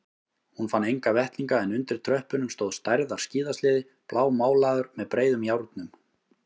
Hún fann enga vettlinga en undir tröppunum stóð stærðar skíðasleði blámálaður með breiðum járnum.